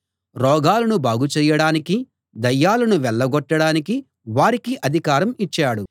రోగాలను బాగుచేయడానికీ దయ్యాలను వెళ్ళగొట్టడానికీ వారికి అధికారం ఇచ్చాడు